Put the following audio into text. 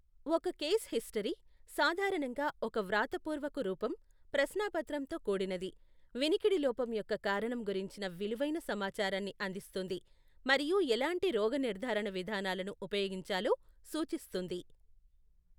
ఒక case history, సాధారణంగా ఒక వ్రాతపూర్వక రూపం, ప్రశ్నాపత్రంతో కూడినది, వినికిడి లోపం యొక్క కారణం గురించిన విలువైన సమాచారాన్ని అందిస్తుంది మరియు ఎలాంటి రోగనిర్ధారణ విధానాలను ఉపయోగించాలో సూచిస్తుంది.